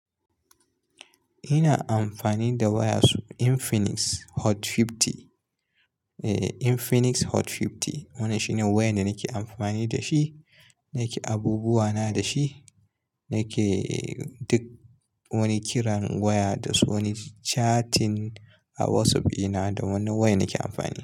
Ina amfani da waya Infinix Hot 50. Infinix Hot 50 wani shine waya da nake amfani da shi, nake abubuwa na da shi, nake duk wani kiran waya da wasu wani chatting a WhatsApp ina da wani waya nake amfani.